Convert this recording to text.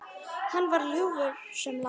Hann var ljúfur sem lamb.